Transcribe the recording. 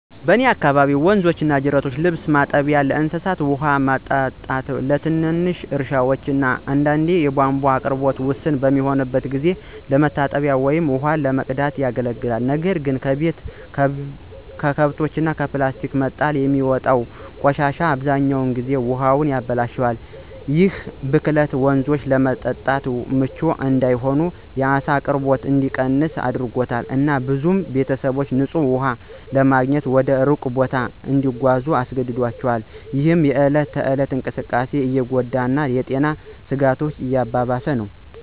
በእኔ አካባቢ ወንዞችና ጅረቶች ለልብስ ማጠቢያ፣ ለእንስሳት ውሃ ማጠጣት፣ ለትንሽ እርሻ እና አንዳንዴም የቧንቧ አቅርቦት ውስን በሚሆንበት ጊዜ ለመታጠብ ወይም ውሃ ለመቅዳት ያገለግላሉ። ነገር ግን ከቤት፣ ከከብቶች እና ከፕላስቲክ መጣል የሚወጣው ቆሻሻ አብዛኛውን ጊዜ ውሃውን ያበላሻል። ይህ ብክለት ወንዞቹን ለመጠጥ ምቹ እንዳይሆን፣ የዓሳ አቅርቦት እንዲቀንስ አድርጓል፣ እና ብዙ ቤተሰቦች ንፁህ ውሃ ለማግኘት ወደ ሩቅ ቦታ እንዲጓዙ አስገድዷቸዋል፣ ይህም የእለት ተእለት እንቅስቃሴን እየጎዳ እና የጤና ስጋቶችን እያባባሰ ነው።